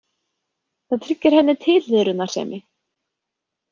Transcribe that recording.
Það tryggir henni tilhliðrunarsemi.